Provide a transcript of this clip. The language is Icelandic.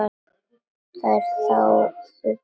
Þær þáðu boðið.